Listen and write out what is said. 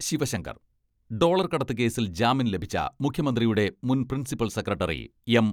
Sivasankar dollar കടത്തു കേസിൽ ജാമ്യം ലഭിച്ച മുഖ്യമന്ത്രിയുടെ മുൻ പ്രിൻസിപ്പൽ സെക്രട്ടറി എം.